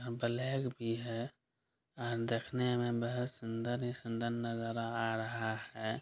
अ black भी है और देखने में बहुत सुंदर ही सुन्दर नजर आ रहा है ।